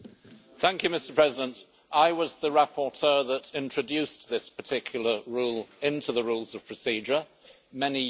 Mr President, I was the rapporteur that introduced this particular rule into the Rules of Procedure many years ago.